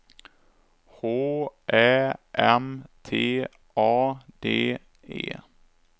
H Ä M T A D E